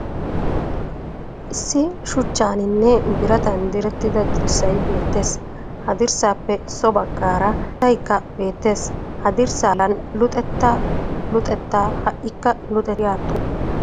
Issi shuchchaaninne biratan direttida dirssay beettes. Ha dirssaappe so baggaara keettayikka beettes. Ha dirssaa bollan " luxettaa luxettaa ha'ikka luxettaa" giya xuufee des.